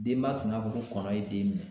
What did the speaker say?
Denba tun y'a fɔ ko kɔnɔ ye den minɛ.